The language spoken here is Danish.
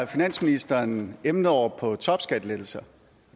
finansministeren emnet over på topskattelettelser